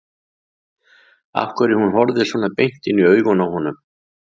Af hverju hún horfði svona beint inn í augun á honum.